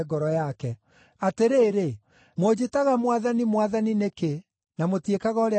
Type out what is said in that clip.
“Atĩrĩrĩ, mũnjĩtaga ‘Mwathani, Mwathani,’ nĩkĩ, na mũtiĩkaga ũrĩa ndĩmwĩraga?